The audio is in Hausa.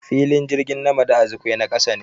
Filin jirgin Nmadi Azikiwe na kasa ne.